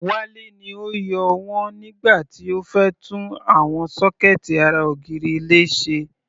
Wale ni ó yọ wọ́n nígbà tí ó fẹ́ tún àwọn sọ́kẹ̀ẹ̀tì ara ògiri ilé ṣe.